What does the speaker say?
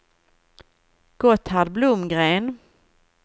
Gotthard Blomgren